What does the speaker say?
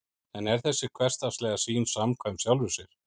en er þessi hversdagslega sýn samkvæm sjálfri sér